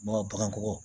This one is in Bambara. Bagankɔ